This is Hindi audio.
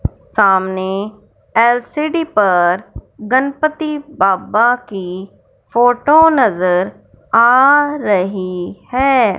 सामने एल_सी_डी पर गनपति बाबा की फोटो नजर आ रही है।